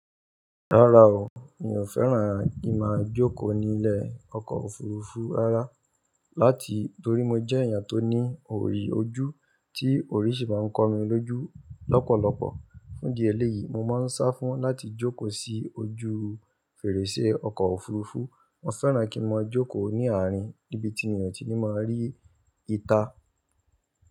Rárá o, mi ò fẹ́ràn kí máa jókòó ní ilẹ̀ ọkọ̀ òfuurufú rárá, láti torí mo jẹ́ èèyàn tó ní òyi ojú, tí oyí ṣi máa ń kọ mi lójú lọ́pọ̀lọpọ̀. Fún idi ẹléyìí, mo máa ń sá fún láti jókòó sí ojú fèrèsé ọkọ̀ òfuurufú. Mo fẹ́ràn kí n máa jókòó ní ààrin níbi tí mi ò tí ní máa rí ìta.